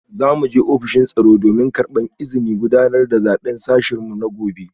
Za mu je ofishin tsaro domin karbar izinin gudanar da zaben sashen mu na gobe